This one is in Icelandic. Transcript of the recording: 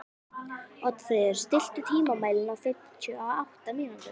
Oddfríður, stilltu tímamælinn á fimmtíu og átta mínútur.